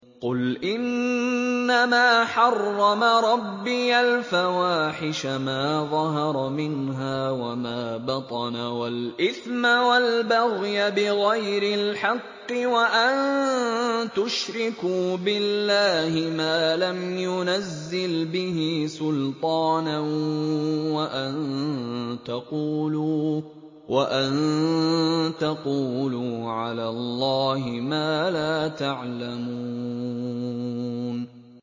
قُلْ إِنَّمَا حَرَّمَ رَبِّيَ الْفَوَاحِشَ مَا ظَهَرَ مِنْهَا وَمَا بَطَنَ وَالْإِثْمَ وَالْبَغْيَ بِغَيْرِ الْحَقِّ وَأَن تُشْرِكُوا بِاللَّهِ مَا لَمْ يُنَزِّلْ بِهِ سُلْطَانًا وَأَن تَقُولُوا عَلَى اللَّهِ مَا لَا تَعْلَمُونَ